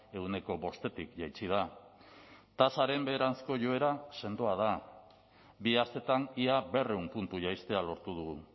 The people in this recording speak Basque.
ehuneko bostetik jaitsi da tasaren beheranzko joera sendoa da bi astetan ia berrehun puntu jaistea lortu dugu